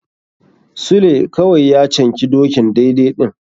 Sule kawai ya canki dokin daidai ɗin.